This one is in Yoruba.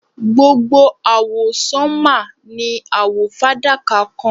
Gbogbo awọsanma ni awọ fadaka kan